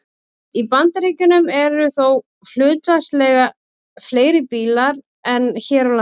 Í Bandaríkjunum eru þó hlutfallslega fleiri bílar en hér á landi.